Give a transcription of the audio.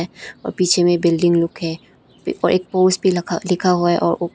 और पीछे में बिल्डिंग लोग है और एक पोस्ट भी लखा लिखा हुआ है और ओ--